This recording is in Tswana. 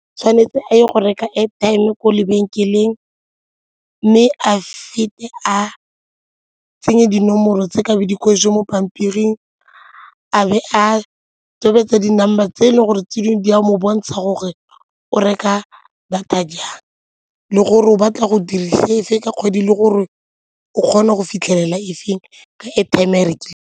Tshwanetse a ye go reka airtime ko lebenkeleng mme a fete a tsenye dinomoro tse ka mo pampiring, a be a tobetsa di-number tse e leng gore ke dingwe di a mo bontsha gore o reka data jang le gore o batla go dirisa efe ka kgwedi le gore o kgona go fitlhelela e feng ka airtime e a e rekileng.